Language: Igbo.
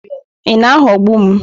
Ị na-aghọgbu m?